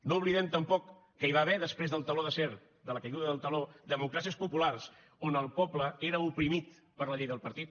no oblidem tampoc que hi va haver després del teló d’acer de la caiguda del teló democràcies populars on el poble era oprimit per la llei del partit